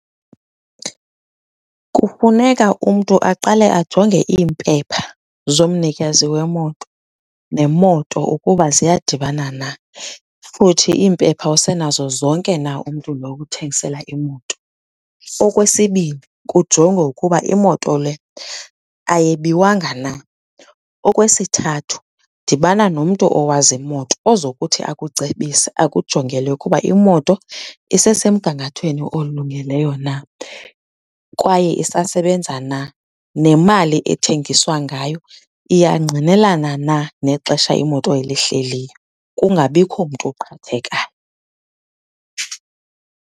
Kufuneka umntu aqale ajonge iimpepha zomnikazi wemoto nemoto ukuba ziyadibana na, futhi iimpepha usenazo zonke na umntu lo ukuthengisela imoto. Okwesibini, kujongwe ukuba imoto le ayebiwanga na. Okwesithathu, dibana nomntu owazi imoto ozokuthi akucebise akujongele ukuba imoto isesemgangathweni olungileyo na, kwaye isasebenza na. Nemali ethengiswa ngayo, iyangqinelana na nexesha imoto elihleliyo, kungabikho mntu uqhathekayo.